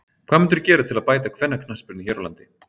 Hvað mundirðu gera til að bæta kvennaknattspyrnu hér á landi?